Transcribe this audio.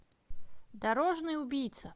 дорожный убийца